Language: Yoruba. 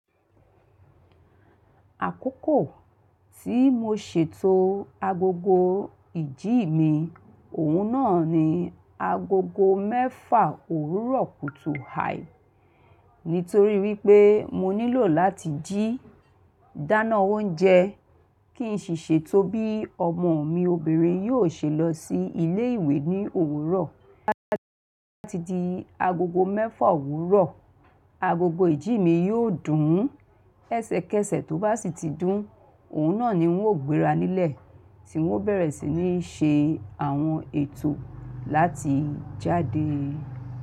Àkókò tí mo ṣètò agogo ìjí mi, òun náà ni agogo mẹ́fà òwúrọ̀ kùtù hà, nítorí wípé mo nílò láti jí dáná oúnjẹ kí n sì ṣètò bí ọmọ mi obìnrin yóò ṣe lọ sí ilé ìwé ní òwúrọ̀. Láti di agogo mẹ́fà òwúrọ̀, agogo ìjí mi yóò dùn ún ẹsẹkẹsẹ tó bá sì ti dùn ún, òun náà ni n ó gbéra nílẹ̀ tí wọ́n bẹ̀rẹ̀ sí ní ṣe àwọn ètò láti jáde.